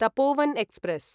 Tapovan express